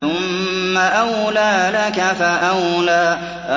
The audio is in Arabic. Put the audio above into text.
ثُمَّ أَوْلَىٰ لَكَ فَأَوْلَىٰ